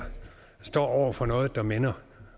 står over for noget der minder